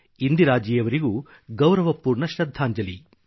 ಇಂದಿರಾಜಿಯವರಿಗೂ ಗೌರವಪೂರ್ಣ ಶೃದ್ಧಾಂಜಲಿ